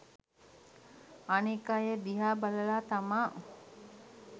අනෙක් අය දිහා බලලා තමා